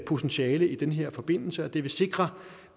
potentiale i den her forbindelse og det vil sikre